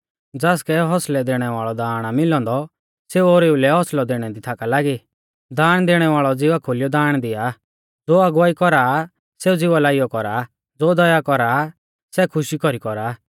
ज़ासकै हौसलै दैणै वाल़ौ दाण आ मिलौ औन्दौ सेऊ ओरीऊ लै होसलै दैणै दी लागी थाका दाण दैणै वाल़ौ ज़िवा खोलियौ दाण दिआ ज़ो अगुवाई कौरा सेऊ ज़िवा लाइयौ कौरा ज़ो दया कौरा सै खुशी कौरी कौरा